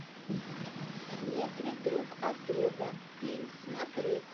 в метре друг от друга фильм смотреть